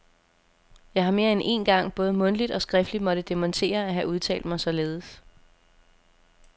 Jeg har mere end én gang både mundtligt og skriftligt måtte dementere at have udtalt mig således.